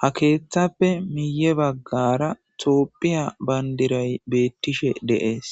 ha keeththappe miye baggara toopphiya bayndiray beettishe de'ees